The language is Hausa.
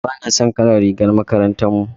Bana son kalar rigar makarantar mu.